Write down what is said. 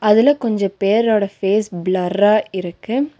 இதுல கொஞ்ச பேரோட ஃபேஸ் பிளர்ரா இருக்கு.